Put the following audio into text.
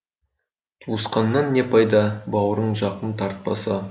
туысқаннан не пайда бауырын жақын тартпаса